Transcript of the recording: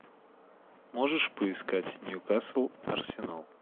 можешь поискать ньюкасл арсенал